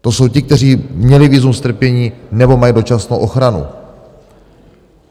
To jsou ti, kteří měli vízum strpění nebo mají dočasnou ochranu.